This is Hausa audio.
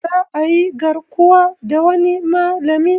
Za ayi garkuwa da wani malami